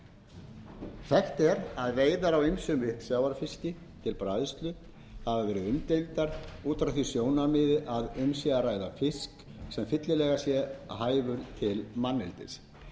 aflans þekkt er að veiðar á ýmsum uppsjávarfiski til bræðslu hafa verið umdeildar út frá því sjónarmiði að um sé að ræða fisk sem fyllilega sé hæfur til manneldis